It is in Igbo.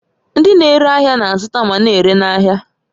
Ndị na-ere ahịa na-azụta ma na-ere n'ahịa